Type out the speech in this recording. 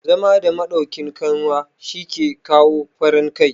zama da madaukin kanwa shi ke kawo farin Kai